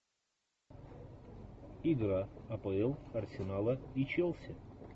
игра апл арсенала и челси